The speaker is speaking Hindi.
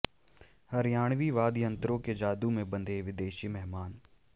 हरियाणवी वाद्य यंत्रों के जादू में बंधे विदेशी मेहमान